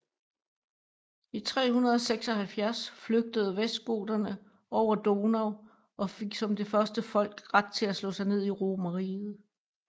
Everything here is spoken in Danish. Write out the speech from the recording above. I 376 flygtede vestgoterne over Donau og fik som det første folk ret til at slå sig ned i Romerriget